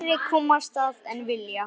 Færri komast að en vilja.